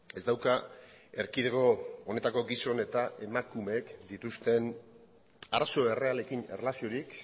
ez dauka erkidego honetako gizon eta emakumeek dituzten arazo errealekin erlaziorik